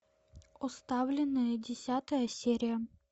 оставленные десятая серия